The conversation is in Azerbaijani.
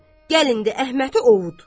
Gəl indi Əhmədi ovut.